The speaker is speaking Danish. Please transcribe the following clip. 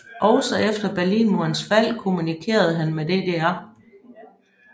Også efter Berlinmurens fald kommunikerede han med DDR